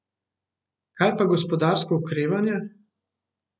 Kaj pa gospodarsko okrevanje?